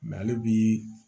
ale bi